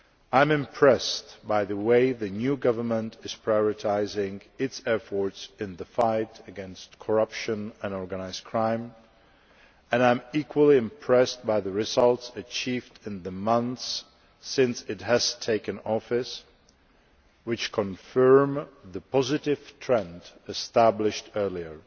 I am impressed by the way the new government is prioritising its efforts in the fight against corruption and organised crime and I am equally impressed by the results achieved in the months since it has taken office which confirm the positive trend established earlier.